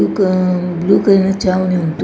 Blue ಕ ah blue colour ಚಾವಣಿ ಉಂಟು.